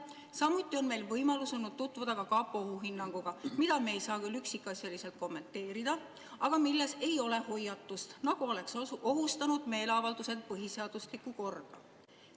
Samuti oli meil võimalus tutvuda kapo ohuhinnanguga, mida me ei saa küll üksikasjalikult kommenteerida, aga milles ei ole hoiatust, nagu oleks ohustanud meeleavaldused põhiseaduslikku korda.